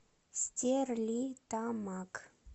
стерлитамак